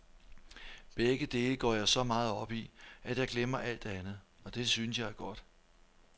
Begge dele går jeg så meget op i, at jeg glemmer alt andet, og det synes jeg er godt.